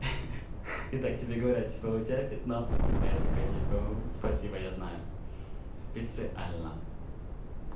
и так тебе говорят типа у тебя пятно а я такой типа спасибо я знаю специально